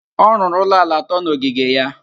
Ọ rụrụ ụlọ ala atọ n'ogige ya.